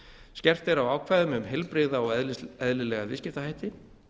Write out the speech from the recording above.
skerpt er á ákvæðum um heilbrigða og eðlilega viðskiptahætti